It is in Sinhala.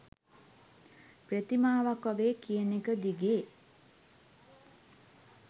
ප්‍රතිමාවක් වගේ කියනෙක දිගේ